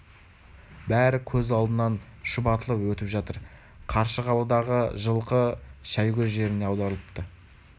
бәрі көз алдынан шұбатылып өтіп жатыр қаршығалыдағы жылқы шәйгөз жеріне аударылыпты